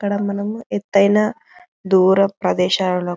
ఇక్కడ మనం ఎతైన దూర ప్రదేశాల --